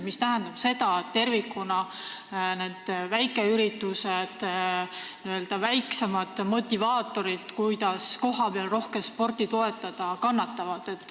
See tähendab seda, et tervikuna kannatavad väikeüritused, n-ö väiksemad motivaatorid, kes kohapeal rohkem sporti toetavad.